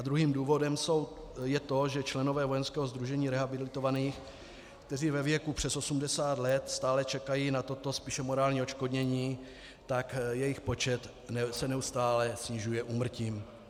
A druhým důvodem je to, že členové Vojenského sdružení rehabilitovaných, kteří ve věku přes 80 let stále čekají na toto spíše morální odškodnění, tak jejich počet se neustále snižuje úmrtím.